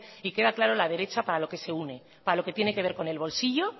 y queda claro la derecha para lo que se une para lo que tiene que ver con el bolsillo